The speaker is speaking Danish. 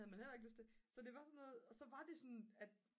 det har man jo heller ikke lyst til så det var sådan noget og så var det sådan at